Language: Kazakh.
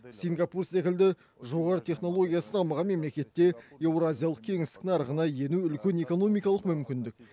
сингапур секілді жоғары технологиясы дамыған мемлекетте еуразиялық кеңістік нарығына ену үлкен экономикалық мүмкіндік